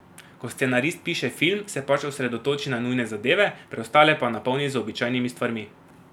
Ko scenarist piše film, se pač osredotoči na nujne zadeve, preostale pa napolni z običajnimi stvarmi.